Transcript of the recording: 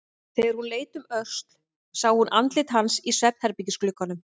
Þegar hún leit um öxl sá hún andlit hans í svefnherbergisglugganum.